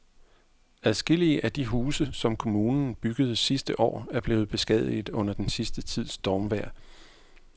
Adskillige af de huse, som kommunen byggede sidste år, er blevet beskadiget under den sidste tids stormvejr.